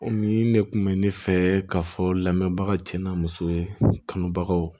O min ne kun bɛ ne fɛ ka fɔ lamɛnbaga cɛ na muso kanubagaw